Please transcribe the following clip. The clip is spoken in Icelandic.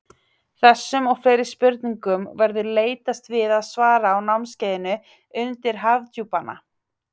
þessum og fleiri spurningum verður leitast við að svara á námskeiðinu undur hafdjúpanna